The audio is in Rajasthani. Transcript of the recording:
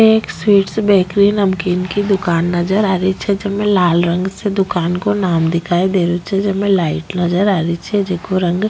एक स्वीट्स बेकरी नमकीन की दुकान नजर आ री छे जेमे लाल रंग से दुकान को नाम दिखाई दे रियो छे जिमे लाइट नजर आ री छे जिको रंग --